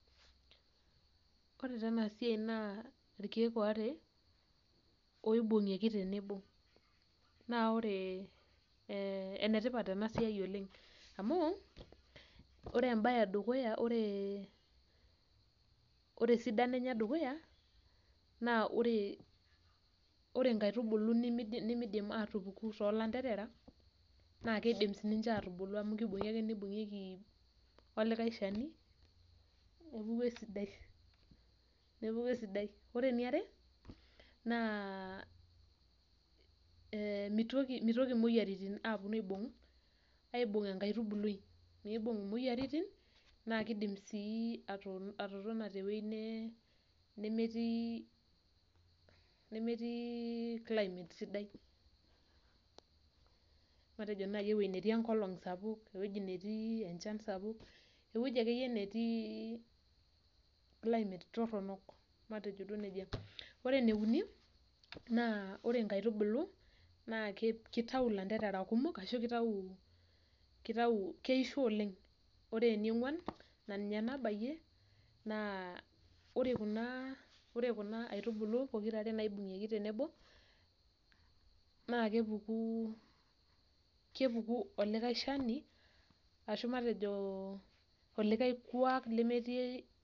Ore taa ena siai naa irkieek waare oibungieki tenebo naa ore ene tipat ena siai oleng amu ore embae edukuya , ore esidano enye edukuya naa ore nkaitubulu nimidim atupuku toolanterera naa kidim sinche atubulu amu kibungi ake nibungieki olikae shani, nepuku esidai, nepuku esidai. Ore eniare naa mitoki ,mitoki imoyiaritin aponu aibung ,aibung enkaitubului , mibung imoyiaritin naa kidim sii atotona tewuei nemetii , nemetiii , nemetii climate sidai matejonaji ewueji netii enkolong sapuk ,ewueji netii enchan sapuk, ewueji akeyie netii climate toronok , matejo duoo nejia . Ore ene uni naa ore nkaitubulu naa kitayu ilanterera kumok ashu kitau , kaitau, keisho oleng . Ore eniongwan naa ore kuna ,ore kuna aitubulu pookirare naibungieki tenebo naa kepuku ,kepuku olikae shani ashu matejo , oikae kwak lemetii..